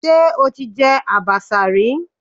Ṣé o ti jẹ àbàṣà rí?